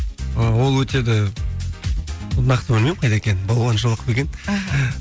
ы ол өтеді нақты білмеймін қайда екенін балуаншолақ па екен аха